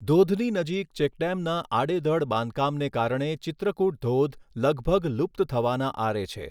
ધોધની નજીક ચેકડેમના આડેધડ બાંધકામને કારણે ચિત્રકૂટ ધોધ લગભગ લુપ્ત થવાના આરે છે.